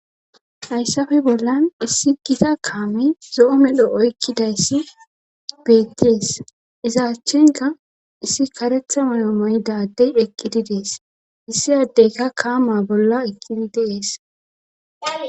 Hayssafe bollan issi gita kaami zo7o medho oykkidayssi beetties izaachchenka issi karetha mayo maydadey dheqkididees issi addeyka kaama bolla ekkini deees.